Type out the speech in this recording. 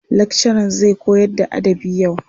Lakcaran zai koyarda adabı yau.